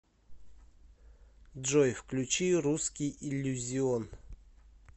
джой включи русский иллюзион